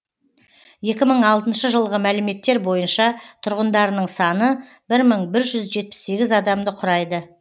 екі мың алтыншы жылғы мәліметтер бойынша тұрғындарының саны бір мың бір жүз жетпіс сегіз адамды құрайды